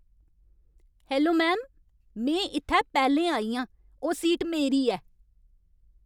Hello ma'am, में इत्थै पैह्लें आई आं। ओह् सीट मेरी ऐ।